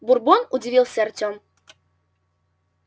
бурбон удивился артём